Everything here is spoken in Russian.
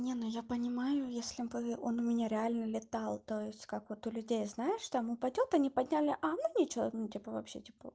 не ну я понимаю если бы он у меня реально летал то есть как вот у людей знаешь что там упадёт они подняли а ну ничего ну типа вообще типа